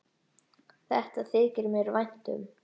Þetta þykir mér vænt um.